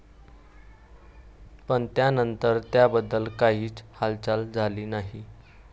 पण, त्यानंतर त्याबद्दल काहीच हालचाल झाली नाही.